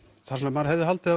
maður hefði haldið